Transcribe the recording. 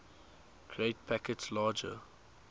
create packets larger